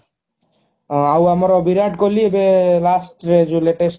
ହଁ ଆଉ ଆମର ବିରାଟ କୋହଲି ଏବେ last ରେ ଯୋଉ latest